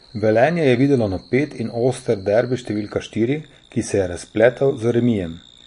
Velenje je videlo napet in oster derbi številka štiri, ki se je razpletel z remijem.